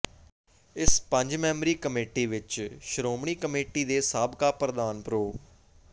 ਇਸ ਪੰਜ ਮੈਂਬਰੀ ਕਮੇਟੀ ਵਿੱਚ ਸ਼੍ਰੋਮਣੀ ਕਮੇਟੀ ਦੇ ਸਾਬਕਾ ਪ੍ਰਧਾਨ ਪ੍ਰੋ